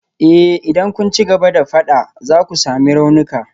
Eh idan kun ci gaba da fada za ku sami raunuka.